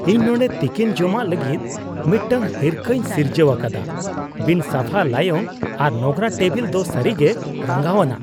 ᱤᱧ ᱱᱚᱸᱰᱮ ᱛᱤᱠᱤᱱ ᱡᱚᱢᱟᱜ ᱞᱟᱹᱜᱤᱫ ᱢᱤᱫᱴᱟᱝ ᱦᱤᱨᱠᱟᱹᱧ ᱥᱤᱨᱡᱟᱹᱣ ᱟᱠᱟᱫᱟ ᱼᱵᱤᱱᱼᱥᱟᱯᱷᱟ ᱞᱟᱭᱚᱝ ᱟᱨ ᱱᱚᱝᱨᱟ ᱴᱮᱵᱤᱞ ᱫᱚ ᱥᱟᱹᱨᱤᱜᱮ ᱨᱟᱸᱜᱟᱣᱟᱱᱟᱜ ᱾